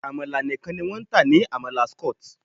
Àmàlà nìkan ni wọ́n ń tà ní Amala Skot.